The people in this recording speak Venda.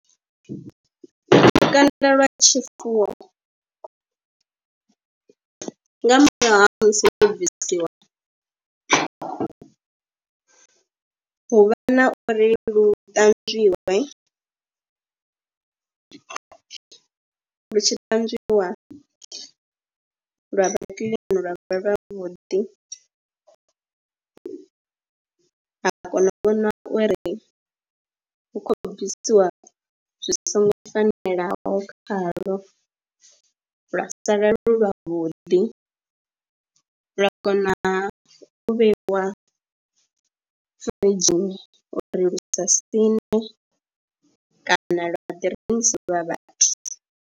Lukanda lwa tshifuwo nga murahu ha musi no bvisiwa kha hu vha na uri lu ṱanzwiwe, lu tshi ṱanzwiwa lwa vha kiḽini lwa vha lwavhuḓi, ha kona u vhona uri hu khou bvisiwa zwi songo fanelaho khaḽo lwa sa lwavhuḓi, lwa kona u vheiwa firidzhini uri lu sa siṋe kana lwa ḓi rengiselwa vhathu.